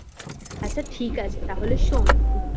আচ্ছা ঠিক আছে তাহলে শোন